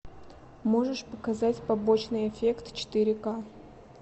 можешь показать побочный эффект четыре ка